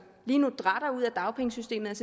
lige nu dratter ud af dagpengesystemet